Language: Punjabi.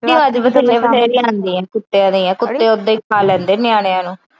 ਕੁੱਤਿਆਂ ਦੀਆ ਕੁੱਤੇ ਓਦਾਂ ਈ ਖਾ ਲੈਂਦੇ ਨਿਆਣਿਆਂ ਨੂੰ।